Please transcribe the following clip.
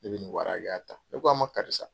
Ne bɛ nin wari hakɛya ta, ne ko a ma karisa